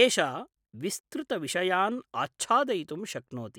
एषा विस्तृतविषयान् आच्छादयितुं शक्नोति।